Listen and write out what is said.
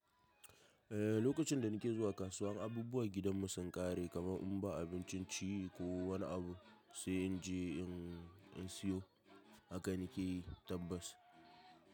Eh lokacin da nake zuwa kasuwan abubuwan gidan mu sun ƙare kamar in ba abincin ci ko wani abu sai in je in siyo haka nake tabbas.